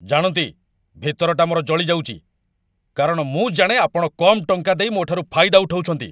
ଜାଣନ୍ତି, ଭିତରଟା ମୋର ଜଳି ଯାଉଚି, କାରଣ ମୁଁ ଜାଣେ ଆପଣ କମ୍ ଟଙ୍କା ଦେଇ ମୋଠାରୁ ଫାଇଦା ଉଠଉଛନ୍ତି।